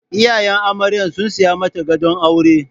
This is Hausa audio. Iyayen amarya sun saya mata gadon aure.